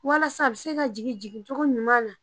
Walasa a bi se ka jigin jigin cogo ɲuman na